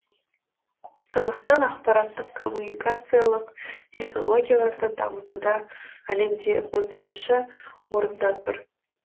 қазақстан ақпараттық коммуникациялық технологияларды дамытуда әлемде отызыншы орында тұр